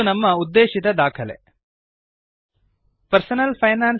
ಇದು ನಮ್ಮ ಉದ್ದೇಶಿತ ದಾಖಲೆಡಾಕ್ಯುಮೆಂಟ್